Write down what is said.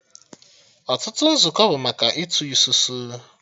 Ọtụtụ nzukọ bụ maka Ịtụ isusu